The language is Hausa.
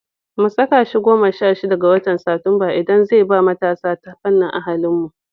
Mu saka shi goma sha shida ga watan Satumba, idan zai zama ba matasa ta fannin ahlinmu.